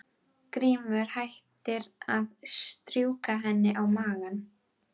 Grímur hættir að strjúka henni um magann.